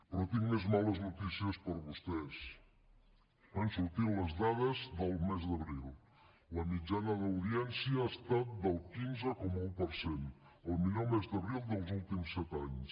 però tinc més males notícies per a vostès han sortit les dades del mes d’abril la mitjana d’audiència ha estat del quinze coma un per cent el millor mes d’abril dels últims set anys